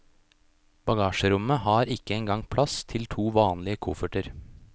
Bagasjerommet har ikke engang plass til to vanlige kofferter.